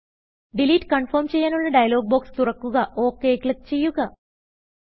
delete confirm ചെയ്യാനുള്ള dialog box തുറ ക്കുക OKക്ലിക്ക് ചെയ്യുക